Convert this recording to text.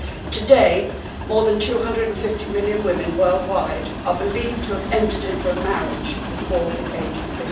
Today, more than 250 million women worldwide are believed to have entered into a marriage before the age of